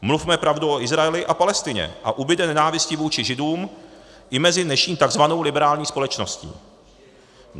Mluvme pravdu o Izraeli a Palestině, a ubude nenávisti vůči Židům i mezi dnešní tzv. liberální společností.